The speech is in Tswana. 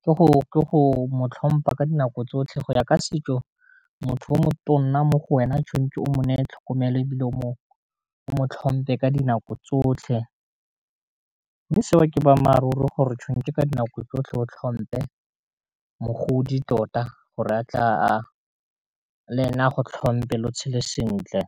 go mo tlhompa ka dinako tsotlhe go ya ka setso, motho yo motona mo go wena o tshwanetse o mo ne tlhokomelo e bile o mo tlhompe ka dinako tsotlhe. Mme seo ke boammaaruri gore tshwanetse ka dinako tsotlhe o tlhompe mogodi tota go re a tle a le e ne a go tlhompe lo tshele sentle.